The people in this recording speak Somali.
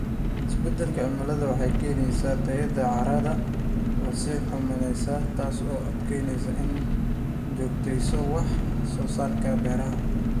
Isbeddelka cimiladu waxay keenaysaa tayada carrada oo sii xumaanaysa, taasoo adkeynaysa in la joogteeyo wax soo saarka beeraha.